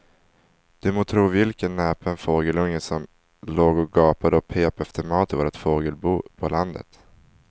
Du må tro vilken näpen fågelunge som låg och gapade och pep efter mat i vårt fågelbo på landet.